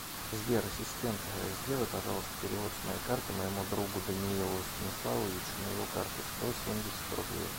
сбер ассистент сделай пожалуйста перевод с моей карты моему другу даниилу станиславовичу на его карту сто семьдесят рублей